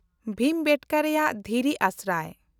ᱵᱷᱤᱢᱵᱮᱴᱠᱟ ᱨᱮᱭᱟᱜ ᱫᱷᱤᱨᱤ ᱟᱥᱨᱟᱭ